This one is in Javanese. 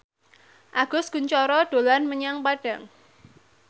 Agus Kuncoro dolan menyang Padang